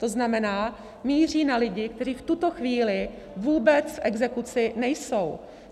To znamená, míří na lidi, kteří v tuto chvíli vůbec v exekuci nejsou.